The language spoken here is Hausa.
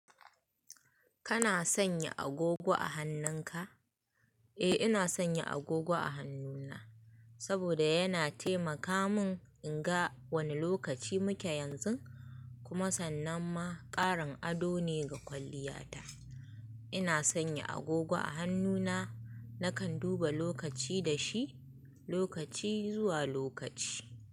Kana sanya agogo a hannunka? Eh, ina sanya agogo a hannuna saboda yana taimaka min in ga wane lokaci muke yanzu kuma sannan ma ƙarin ado ne ga kwalliyata. Ina sanya agogo a hannuna, nakan duba lokaci da shi lokaci zuwa lokaci.